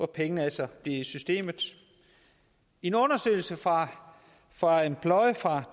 pengene altså bliver i systemet i en undersøgelse fra fra employ fra